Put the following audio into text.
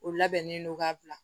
O labɛnnen don ka bila